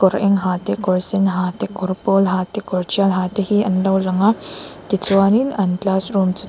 kawr eng ha te kawr sen ha te kawr pawl ha te kawr tial ha te an lo lang a tichuanin an classroom chu tuk--